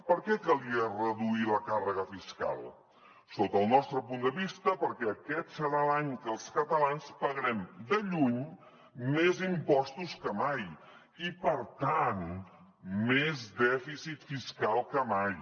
per què calia reduir la càrrega fiscal sota el nostre punt de vista perquè aquest serà l’any que els catalans pagarem de lluny més impostos que mai i per tant més dèficit fiscal que mai